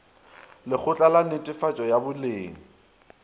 lekgotla la netefatšo ya boleng